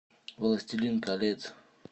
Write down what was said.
властелин колец